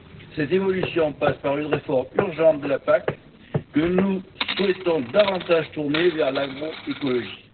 Cette évolution passe par une réforme urgente de la PAC, que nous souhaitons davantage tournée vers l'agro écologie.